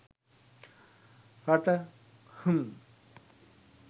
රට! හ්ම්.